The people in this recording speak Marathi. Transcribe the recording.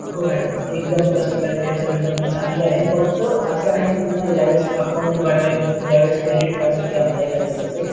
हो madam एकदम customer care service चांगली आहे फक्त असं आहे तुम्हला ज्यावेळेस account बनवायचं म्हणजे crdit card साठी apply करायच असेल